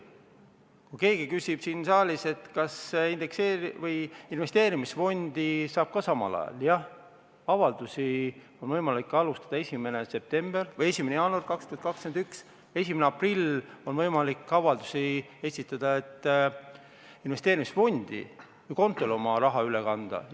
Kui keegi küsib siin saalis, kas investeerimisfondi saab ka samal ajal, siis jah, avaldusi on võimalik hakata esitama 1. jaanuaril 2021, 1. aprillil on võimalik avaldusi esitada, et investeerimisfondi või -kontole oma raha üle kanda.